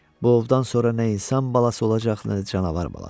Bu ovdan sonra nə insan balası olacaq, nə də canavar balası.